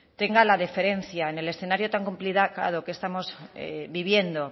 tenga la deferencia en el escenario tan complicado que estamos viviendo